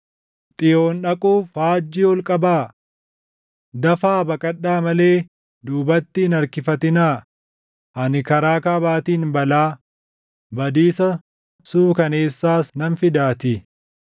Xiyoon dhaquuf faajjii ol qabaa? Dafaa baqadhaa malee duubatti hin harkifatinaa! Ani karaa kaabaatiin balaa, badiisa suukaneessaas nan fidaatii.”